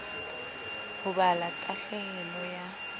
ho ba la tahlehelo ya